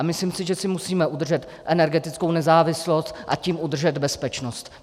A myslím si, že si musíme udržet energetickou nezávislost, a tím udržet bezpečnost.